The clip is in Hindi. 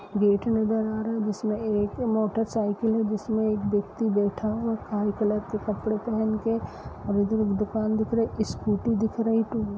गेट नजर आ रहा है जिसमें एक मोटर साइकिल है जिसमें एक व्यक्ति बैठा हुआ है काले कलर के कपड़े पहन के और इधर एक दुकान दिख रही है स्कूटी दिख रही है --